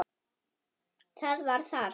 Það var þarft.